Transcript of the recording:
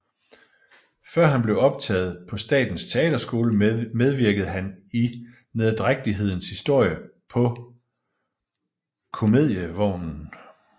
Før han blev optaget på Statens Teaterskole medvirkede han i Nederdrægtighedens Historie på Comedievognen